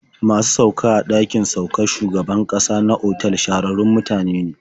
Masu sauka a ɗakin saukar shugaban ƙasa na otal shahararrun mutane ne.